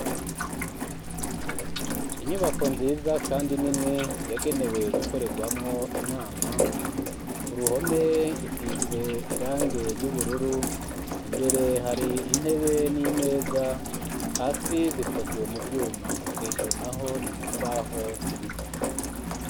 Inyubako nziza, kandi nini yagenewe gukorerwamwo inama ku ruhome isize irange ry'ubururu imbere hari intebe n'imeza hasi zikozwe mu vyuma hejuru na ho ni mu mbaho z'ibiti.